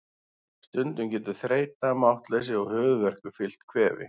Stundum getur þreyta, máttleysi og höfuðverkur fylgt kvefi.